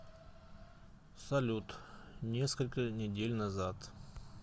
салют несколько недель назад